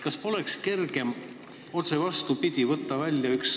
Kas poleks kergem teha otse vastupidi ning võtta üks sõna välja?